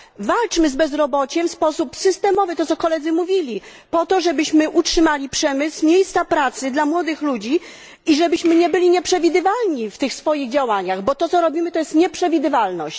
Walczmy z bezrobociem w sposób systemowy tak, jak koledzy mówili po to, żebyśmy utrzymali przemysł, miejsca pracy dla młodych ludzi i żebyśmy nie byli nieprzewidywalni w tych swoich działaniach, bo to co robimy, prowadzi do nieprzewidywalności.